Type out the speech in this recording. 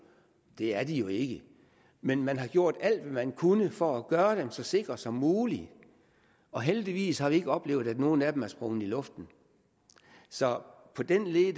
det er de jo ikke men man har gjort alt hvad man kunne for at gøre dem så sikre som muligt og heldigvis har vi ikke oplevet at nogle af dem er sprunget i luften så på den led